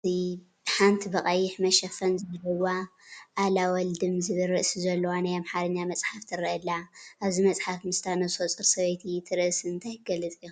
ሓንቲ ብቐይሕ መሸፈን ዘለዋ ኣለወለድም ዝብል ርእሲ ዘለዋ ናይ ኣምሓርኛ መፅሓፍ ትረአ ኣላ፡፡ ኣብዚ መፅሓፍ ምስታ ነብሰፁር ሰበይቲ እቲ ርእሲ እንታይ ክገልፅ ይኽእል ትብሉ?